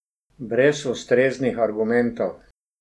Brez ustreznih argumentov.